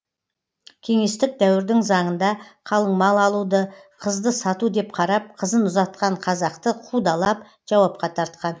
кеңестік дәуірдің заңында қалың мал алуды қызды сату деп қарап қызын ұзатқан қазақты қудалап жауапқа тартқан